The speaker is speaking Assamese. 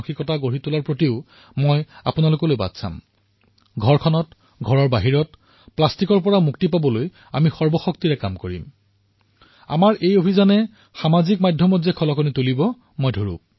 প্লাষ্টিকৰ পৰা মুক্তি পাবলৈ আমি সকলো ঘৰ ঘৰৰ বাহিৰত সকলোতে পূৰ্ণ শক্তিৰে নামি পৰিম আৰু মই জানো যে এই সকলো অভিযানে ছচিয়েল মিডিয়াত আলোড়নৰ সৃষ্টি কৰিব